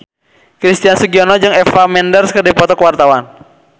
Christian Sugiono jeung Eva Mendes keur dipoto ku wartawan